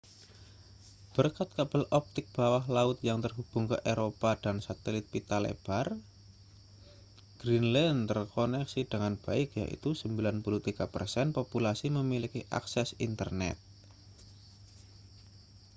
berkat kabel optik bawah laut yang terhubung ke eropa dan satelit pita lebar greenland terkoneksi dengan baik yaitu 93% populasi memiliki akses internet